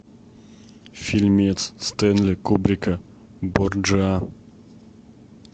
фильмец стэнли кубрика борджиа